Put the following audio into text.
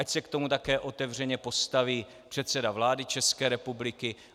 Ať se k tomu také otevřeně postaví předseda vlády České republiky.